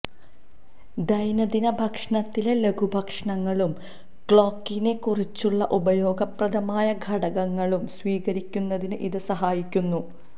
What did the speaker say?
ദൈനംദിന ഭക്ഷണത്തിലെ ലഘുഭക്ഷണങ്ങളും ക്ലോക്കിനെ കുറിച്ചുള്ള ഉപയോഗപ്രദമായ ഘടകങ്ങളും സ്വീകരിക്കുന്നതിന് ഇത് സഹായിക്കുന്നു